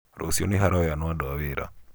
Rũciũ nĩharoyanwo andũ a wĩra?